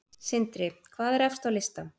Sindri: Hvað er efst á lista?